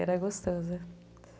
Era gostoso, né?